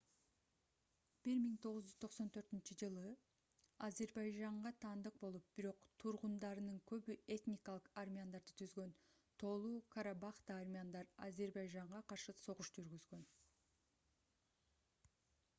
1994-жылы азербайжанга таандык болуп бирок тургундарынын көбү этникалык армяндарды түзгөн тоолу-карабахта армяндар азербайжанга каршы согуш жүргүзгөн